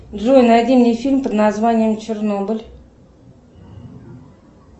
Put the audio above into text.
джой найди мне фильм под названием чернобыль